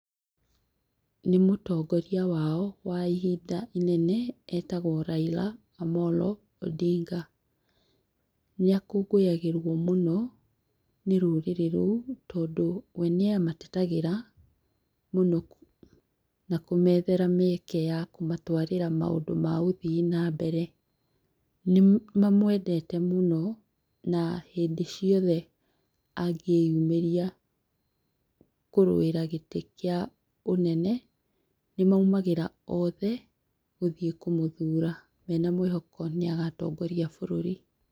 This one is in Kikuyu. Nĩ mũtongoria wao wa ihinda inene etagwo Raila Amolo Odinga. Nĩ akũngũyagĩrwo mũno nĩ rũrĩrĩ rũu tondũ wee nĩamatetagĩra mũno na kũmethera mĩeke ya kũmatwarĩra maũndũ ma ũthii na mbere. Nimamwendete mũno na hĩndĩ ciothe angĩyumĩria kũrũĩra gĩtĩ kia ũnene nĩmaumagĩra othe gũthiĩ kũmũthura mena mwĩhoko nĩ agatongoria bũrũri.